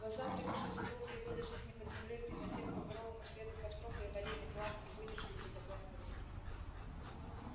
глаза привыкшие за долгие годы жизни под землёй к темноте к багровому свету костров и аварийных ламп не выдержали бы такой нагрузки